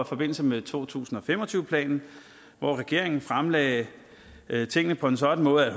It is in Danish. forbindelse med to tusind og fem og tyve planen hvor regeringen fremlagde tingene på en sådan måde